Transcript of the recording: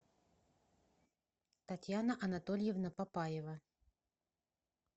татьяна анатольевна папаева